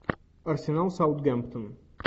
арсенал саутгемптон